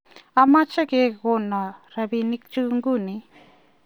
ameche kekonon robinikchu nguni